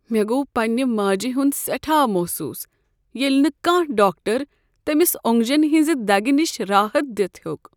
مےٚ گوٚو پنٛنہ ماجہِ ہٗند سیٹھاہ محسوس ییٚلہ نہٕ کانٛہہ ڈاکٹر تمِس اوٚنگجن ہنزِ دگہِ نِش راحت دِتھ ہیوٚک۔